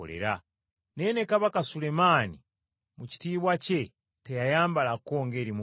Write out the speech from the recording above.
naye ne Kabaka Sulemaani mu kitiibwa kye kyonna teyagenkana mu kwambala.